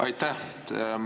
Aitäh!